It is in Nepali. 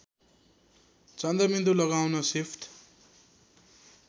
चन्द्रबिन्दु लगाउन सिफ्ट